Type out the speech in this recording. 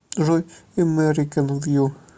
джой эмэрикэн вью